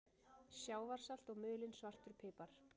Sjávarsalt og mulinn svartur pipar